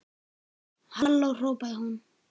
Halló hrópaði hún.